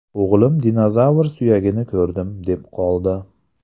O‘g‘lim ‘dinozavr suyagini ko‘rdim’, deb qoldi.